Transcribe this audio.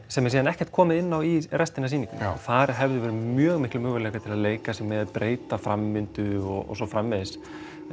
sem er svo ekkert komið inn á restina af sýningunni þar hefðu verið mjög miklir möguleikar til að leika sér með breyta framvindu og svo framvegis